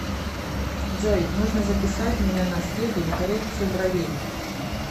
джой нужно записать меня на среду на коррекцию бровей